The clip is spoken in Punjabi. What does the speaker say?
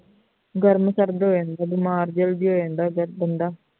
ਗਰਮ ਸਰਦ ਹੋ ਜਾਂਦਾ ਹੈ ਬਿਮਾਰ ਜਲਦੀ ਹੋ ਜਾਂਦਾ ਹੈ ਬੰਦਾ